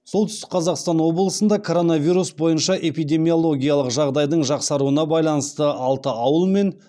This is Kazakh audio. солтүстік қазақстан облысында коронавирус бойынша эпидемиологиялық жағдайдың жақсаруына байланысты алты ауыл мен